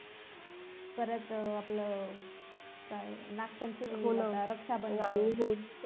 परत आपलं काय नागपंचमी आणि रक्षाबंधन